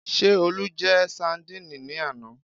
Ṣé Olú jẹ sandíìnì ní àná?